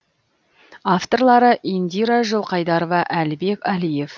авторлары индира жылқайдарова әлібек әлиев